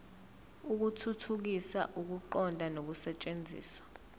ukuthuthukisa ukuqonda nokusetshenziswa